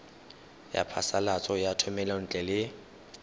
ya phasalatso ya thomelontle le